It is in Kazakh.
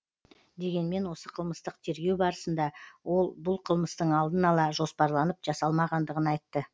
дегенмен осы қылмыстық тергеу барысында ол бұл қылмыстың алдын ала жоспарланып жасалмағандығын айтты